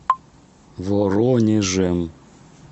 воронежем